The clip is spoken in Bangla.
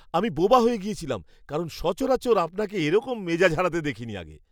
আমি বোবা হয়ে গেছিলাম কারণ সচরাচর আপনাকে এরকম মেজাজ হারাতে দেখিনি আগে।